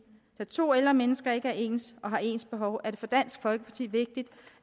da to ældre mennesker ikke er ens og har ens behov er det for dansk folkeparti vigtigt